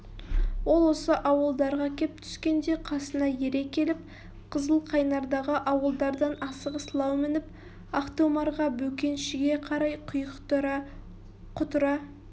ол осы ауылдарға кеп түскенде қасына ере келіп қызыл қайнардағы ауылдардан асығыс лау мініп ақтомарға бөкеншіге қарай құйықтыра құтыра